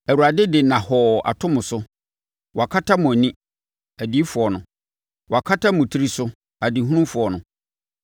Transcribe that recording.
Awurade de nnahɔɔ ato mo so: Wakata mo ani (adiyifoɔ no); wakata mo tiri so (adehufoɔ no).